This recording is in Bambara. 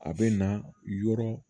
A bɛ na yɔrɔ